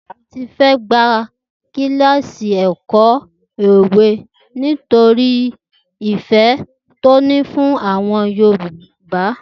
Tife gba kíláàsì ẹ̀kọ́ òwe nítorí ìfẹ́ tó ní fún àwọn òwe Yorùbá.